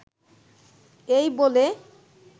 এই বলে